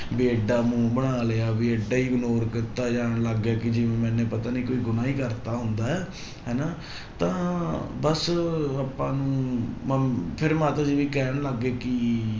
ਵੀ ਏਡਾ ਮੂੰਹ ਬਣਾ ਲਿਆ ਵੀ ਏਡਾ ignore ਕੀਤਾ ਜਾਣ ਲੱਗ ਗਿਆ ਕਿ ਜਿਵੇਂ ਮੈਨੂੰ ਪਤਾ ਨੀ ਕੋਈ ਗੁਨਾਂਹ ਹੀ ਕਰ ਦਿੱਤਾ ਹੁੰਦਾ ਹੈ ਹਨਾ ਤਾਂ ਬਸ ਆਪਾਂ ਨੂੰ ਮ~ ਫਿਰ ਮਾਤਾ ਜੀ ਵੀ ਕਹਿਣ ਲੱਗ ਗਏ ਕਿ